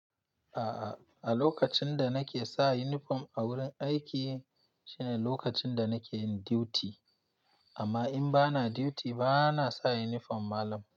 A'a, a lokacin da nake sa yunifom a wurin aiki shine lokacin da nake yin duty. Amma in ba na duty, ba na sa yunifom malam.